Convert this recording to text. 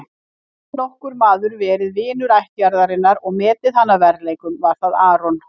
Hafi nokkur maður verið vinur ættjarðarinnar og metið hana að verðleikum var það Aron.